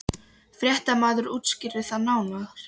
Fréttamaður: Útskýrðu það nánar?